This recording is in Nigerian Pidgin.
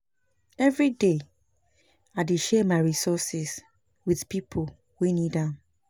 Every day, I dey share my resources with people wey need am pass.